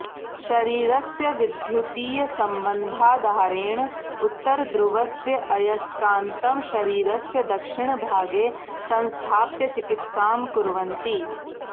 शरीरस्य विद्युतीयसंबन्धाधारेण उत्तरध्रुवस्य अयस्कान्तं शरीरस्य दक्षिणभागे संस्थाप्य चिकित्सां कुर्वन्ति